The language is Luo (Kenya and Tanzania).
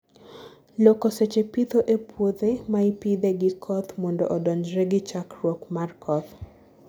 loko seche pitho e puothe maipithe gi koth mondo odonjre gi chakruok mar koth